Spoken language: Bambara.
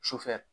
Sufɛ